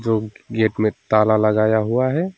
Gate में ताला लगाया हुआ है।